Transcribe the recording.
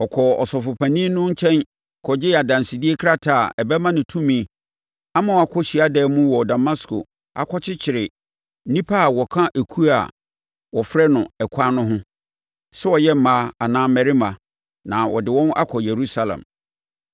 Ɔkɔɔ Ɔsɔfopanin no nkyɛn kɔgyee adansedie krataa a ɛbɛma no tumi ama wakɔ hyiadan mu wɔ Damasko akɔkyekyere nnipa a wɔka ekuo a wɔfrɛ no Ɛkwan no ho, sɛ wɔyɛ mmaa anaa mmarima, na ɔde wɔn akɔ Yerusalem.